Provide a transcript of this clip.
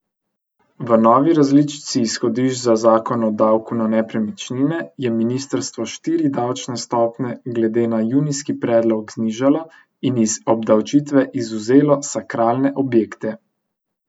V novi različici izhodišč za zakon o davku na nepremičnine je ministrstvo štiri davčne stopnje glede na junijski predlog znižalo in iz obdavčitve izvzelo sakralne objekte.